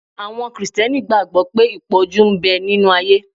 Àwọn Krìsìtẹ́nì gbàgbọ́ pé ìpọ́njú ń bẹ nínu ayé